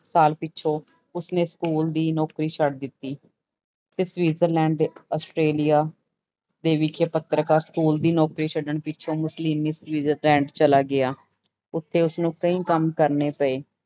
ਸਾਲ ਪਿੱਛੋਂ ਉਸਨੇ ਸਕੂਲ ਦੀ ਨੌਕਰੀ ਛੱਡ ਦਿੱਤੀ, ਤੇ ਸਵਿਜਰਲੈਂਡ ਤੇ ਆਸਟ੍ਰੇਲੀਆ ਦੇ ਵਿੱਚ ਪਤ੍ਰਿਕਾ ਸਕੂਲ ਦੀ ਨੌਕਰੀ ਛੱਡਣ ਪਿੱਛੋਂ ਮਿਸੋਲੀਨੀ ਸਵਿਜ਼ਰਲੈਂਡ ਚਲਾ ਗਿਆ, ਉੱਥੇ ਉਸਨੂੰ ਕਈ ਕੰਮ ਕਰਨੇ ਪਏ।